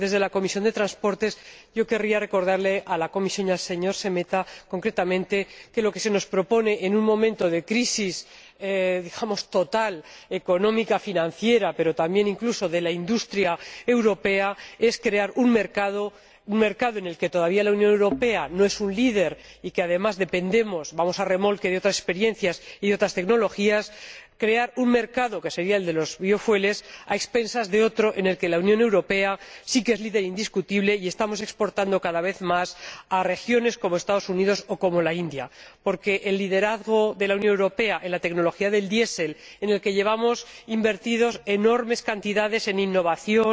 Desde la Comisión de Transportes y Turismo, yo querría recordarle a la Comisión y al señor Šemeta, concretamente, que lo que se nos propone en un momento de crisis —digamos— total, económica, financiera, pero también de la industria europea, es la creación de un mercado en el que la Unión Europea todavía no es líder y del que, además, dependemos, yendo a remolque de otras experiencias y de otras tecnologías. Se trata de crear un mercado —el de los biocombustibles— a expensas de otro en el que la Unión Europea sí que es líder indiscutible y donde estamos exportando cada vez más a países como los Estados Unidos o la India. Es evidente el liderazgo de la Unión Europea en la tecnología del diésel, en el que llevamos invertidas enormes cantidades en innovación,